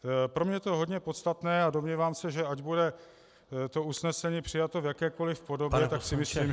Pro mě je to hodně podstatné a domnívám se, že ať bude to usnesení přijato v jakékoli podobě, tak si myslím -